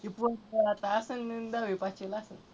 ती पोर आता असन तर दहावी पास केलं आसल.